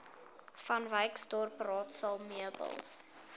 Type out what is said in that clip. vanwyksdorp raadsaal meubels